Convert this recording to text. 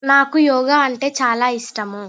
నాకు యోగ అంటే చాల ఇష్టము --